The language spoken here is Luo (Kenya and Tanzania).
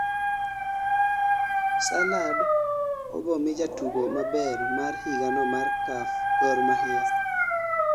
salad ibomii jatugo maber mar higano mar KAF gor mahia